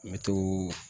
Me to